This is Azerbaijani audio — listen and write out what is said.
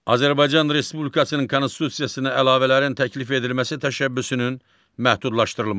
Azərbaycan Respublikasının konstitusiyasına əlavələrin təklif edilməsi təşəbbüsünün məhdudlaşdırılması.